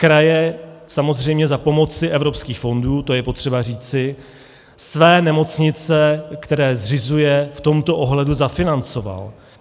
Kraje samozřejmě za pomoci evropských fondů, to je potřeba říci, své nemocnice, které zřizují, v tomto ohledu zafinancovaly.